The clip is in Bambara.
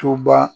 Toba